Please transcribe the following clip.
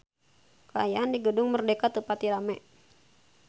Kaayaan di Gedung Merdeka teu pati rame